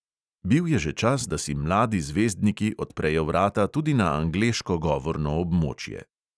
Bil je že čas, da si mladi zvezdniki odprejo vrata tudi na angleško govorno območje.